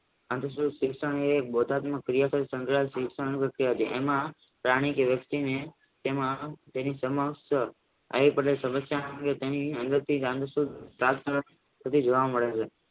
શિક્ષાને એમાં પ્રાણી કે વસ્તીને તેમાં તેની સમક્ષ